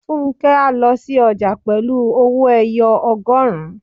Fúnkẹ́ á lọ sí ọjà pẹ̀lú owó-ẹyọ ọgọrun